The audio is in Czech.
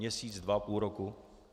Měsíc, dva, půl roku?